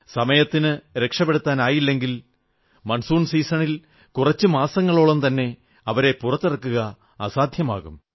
സമയത്തിന് രക്ഷപ്പെടുത്താനായില്ലെങ്കിൽ മൺസൂൺ സീസണിൽ കുറച്ചു മാസങ്ങളോളം തന്നെ അവരെ പുറത്തിറക്കുക അസാധ്യമാകും